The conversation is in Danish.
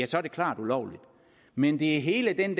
så er det klart ulovligt men det er hele den